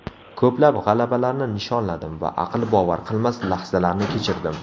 Ko‘plab g‘alabalarni nishonladim va aql bovar qilmas lahzalarni kechirdim.